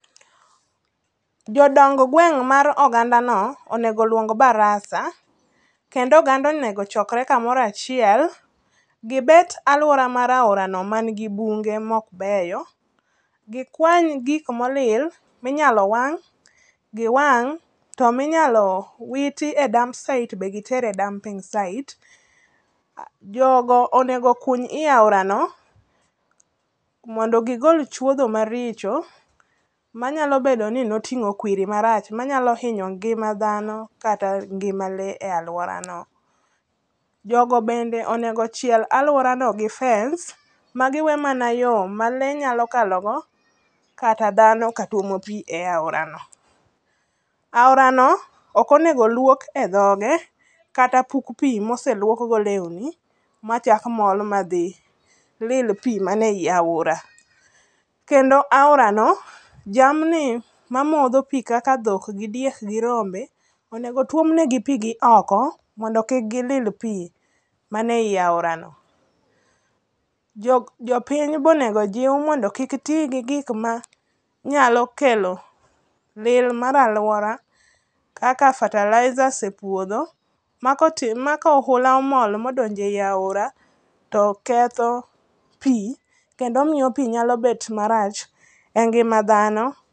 Jodong gweng' mar ogandano onego oluong barasa, kendo oganda onego ochokre kamorachiel. Gibet alwora mar aorano man gi bunge maok beyo, gikwany gik molil minyalo wang', giwang', to minyalo witi e dumping site be gitere dumping site. Jogo onego okuny i aorano mondo gigol chuodho maricho, manyalo bedo ni noting'o kwiri marach manyalo hinyo ngima dhano kata ngima le e alworano. Jogo bende onego ochiel alworano gi fence, ma giwe mana yo ma le nyalo kalogo kata dhano katwomo pi e aorano. Aorano ok onego olwok e dhoge kata puk pi moseluokgo lewni, machak mol madhi lil pi manei aora. Kendo aorano, jamni mamodho pi kaka dhok, gi diek gi rombe, onego otwomnegi pi gioko mondo kik gilil pi manei aorano. Jopiny bonegojiw mondo kik giti gi gik manyalo kelo lil mar alwora kaka fertilizers e puodho ma ka ohula omol modonjo ei aora to ketho pi kendo miyo pi nyalo bet marach e ngima dhano.